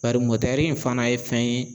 Bari mɔtɛri in fana ye fɛn ye